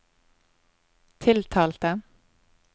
tiltalte